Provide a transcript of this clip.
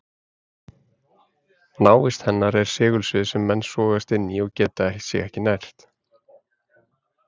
Návist hennar er segulsvið sem menn sogast inn í og geta sig ekki hrært.